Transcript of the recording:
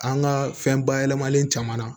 An ka fɛn bayɛlɛmalen caman na